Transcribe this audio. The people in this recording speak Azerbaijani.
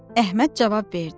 Əhməd cavab verdi.